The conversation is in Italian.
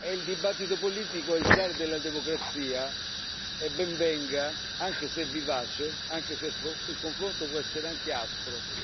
Il dibattito politico è il sale della democrazia e ben venga, anche se è vivace, anche se il confronto può essere aspro.